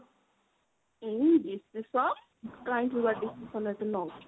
ହୁଁ decision କାହିଁକି ବା decision ଏତେ ନଉଛୁ।